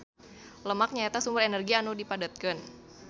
Lemak nyaeta sumber energi anu dipadetkeun.